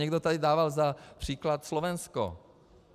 Někdo tady dával za příklad Slovensko.